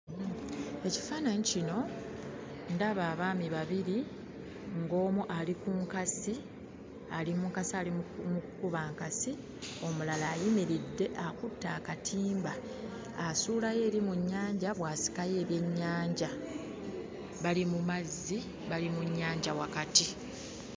Ekifaananyi kino ndaba abaami babiri ng'omu ali ku nkasi ali mu nkasi ali mu kkuba nkasi omulala ayimiridde akutte akatimba asuulayo eri mu nnyanja bw'asikayo ebyennyanja bali mu mazzi bali mu nnyanja wakati.